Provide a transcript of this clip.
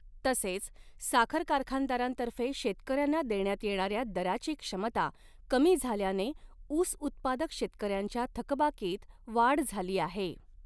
तसेच, साखर कारखानदारांतर्फे शेतकर्यांना देण्यात येणाऱ्या दराची क्षमता कमी झाल्याने ऊस उत्पादक शेतकऱ्यांच्या थकबाकीत वाढ झाली आहे.